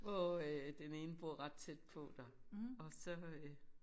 Hvor øh den ene bor ret tæt på der og så øh